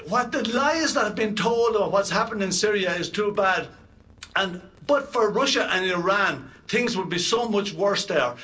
The lies that have been told of what's happened in Syria is too bad and, but for Russia and Iran, things would be so much worse there.